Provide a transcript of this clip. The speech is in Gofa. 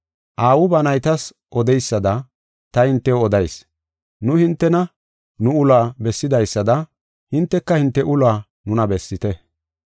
Aawu ba naytas odeysada ta hintew odayis; nu hintena nu uluwa bessidaysada, hinteka hinte uluwa nuna bessite.